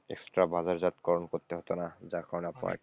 extra বাজারজাত করন করতে হতো না,